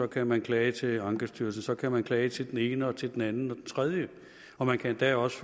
kan man klage til ankestyrelsen så kan man klage til den ene og til den anden og den tredje og man kan endda også